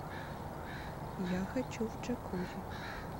я хочу в джакузи